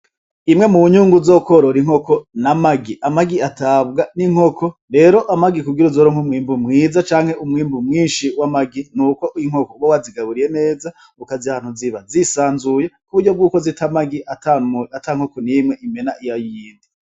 Imwe mu wunyungu zokworora inkoko n'a magi amagi atabwa n'inkoko rero amagi kugira uzoro nk'umwimbu mwiza canke umwimbu mwinshi w'amagi ni uko inkoko bo wazigaburiye neza ukaza ahantu ziba zisanzuye k'uburyo bw'uko zita magi ata nkoko n'imwe imena iya yindi.